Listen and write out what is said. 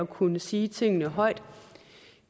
kunne sige tingene højt